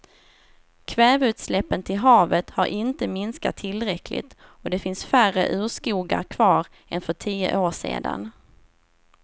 Kväveutsläppen till havet har inte minskat tillräckligt och det finns färre urskogar kvar än för tio år sedan.